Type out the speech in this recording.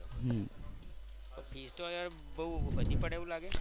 બહુ વધુ પડે એવું લાગે.